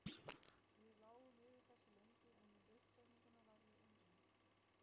Við lágum yfir þessu lengi, en um uppsetninguna var ég einráður.